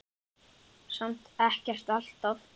Samt ekkert alltaf.